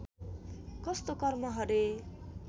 कस्तो कर्म हरे